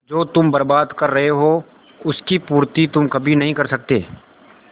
जो तुम बर्बाद कर रहे हो उसकी पूर्ति तुम कभी नहीं कर सकते